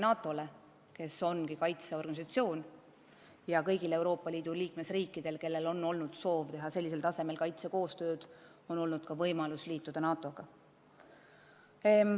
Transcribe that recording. NATO ongi kaitseorganisatsioon ja kõigil Euroopa Liidu liikmesriikidel, kellel on olnud soov teha sellisel tasemel kaitsekoostööd, on olnud võimalus NATO-ga liituda.